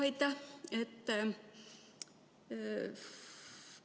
Aitäh!